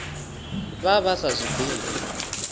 vha vha sa zwi ḓivhi